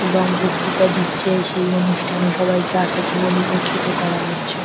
এবং বক্তৃতা দিচ্ছে সেই অনুষ্ঠানে সবাইকে আসার জন্য নিমন্ত্রিত করা হচ্ছে।